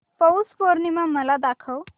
पौष पौर्णिमा मला दाखव